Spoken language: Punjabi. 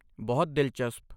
ਬਹੁਤ ਦਿਲਚਸਪ!